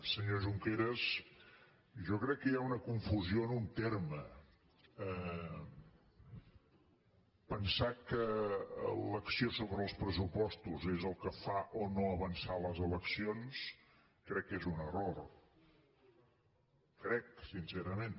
senyor junqueras jo crec que hi ha una confusió en un terme pensar que l’ac·ció sobre els pressupostos és el que fa o no avançar les eleccions crec que és un error crec sincerament